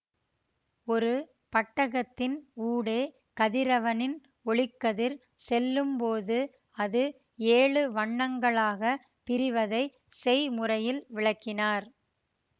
ஒரு பட்டகத்தின் ஊடே கதிரவனின் ஒளிக்கதிர் செல்லும்போது அது ஏழு வண்ணங்களாகப் பிரிவதைச் செய்முறையில் விளக்கினார்